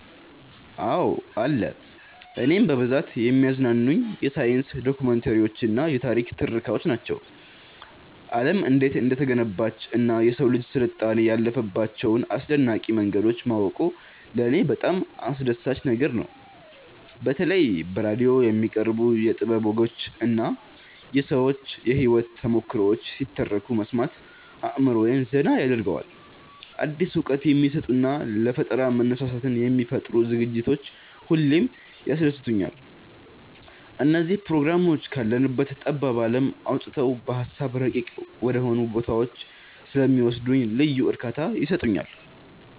አዎ አለ። እኔን በብዛት የሚያዝናኑኝ የሳይንስ ዶክመንተሪዎችና የታሪክ ትረካዎች ናቸው። ዓለም እንዴት እንደተገነባችና የሰው ልጅ ስልጣኔ ያለፈባቸውን አስደናቂ መንገዶች ማወቁ ለኔ በጣም አስደሳች ነገር ነው። በተለይ በራዲዮ የሚቀርቡ የጥበብ ወጎችና የሰዎች የህይወት ተሞክሮዎች ሲተረኩ መስማት አእምሮዬን ዘና ያደርገዋል። አዲስ እውቀት የሚሰጡና ለፈጠራ መነሳሳትን የሚፈጥሩ ዝግጅቶች ሁሌም ያስደስቱኛል። እነዚህ ፕሮግራሞች ካለንበት ጠባብ ዓለም አውጥተው በሃሳብ ረቂቅ ወደሆኑ ቦታዎች ስለሚወስዱኝ ልዩ እርካታ ይሰጡኛል።